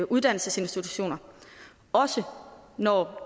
uddannelsesinstitutioner også når